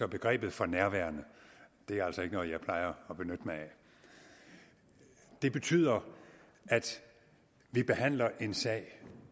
begrebet for nærværende er altså ikke noget som jeg plejer at benytte mig af det betyder at vi behandler en sag